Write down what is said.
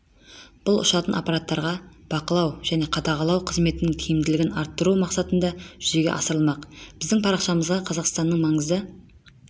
бұл ұшатын аппараттарға бақылау және қадағалау қызметінің тиімділігін арттыру мақсатында жүзеге асырылмақ біздің парақшамызда қазақстанның маңызды